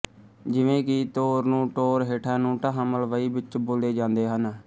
ਜਿਵੇਂ ਕਿ ਤੋਰ ਨੂੰ ਟੋਰ ਹੇਠਾਂ ਨੂੰ ਢਾਹਾਂ ਮਲਵਈ ਵਿੱਚ ਬੋਲੇ ਜਾਂਦੇ ਹਨ